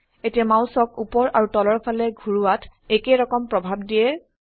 এতিয়া মাউসক উপৰ আৰু তলৰ ফালে ঘোৰোৱাত একেইৰকম প্ৰভাব দিয়ে